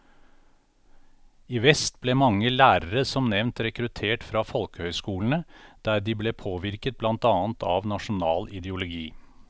I vest ble mange lærere som nevnt rekruttert fra folkehøyskolene, der de ble påvirket blant annet av nasjonal ideologi.